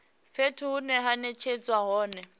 fhethu hune ha netshedzwa hone